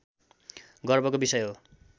गर्वको विषय हो